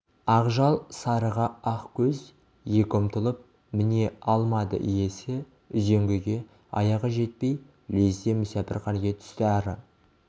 ақжал сарыға ақкөз екі ұмтылып міне алмады иесі үзеңгіге аяғы жетпей лезде мүсәпір халге түсті ары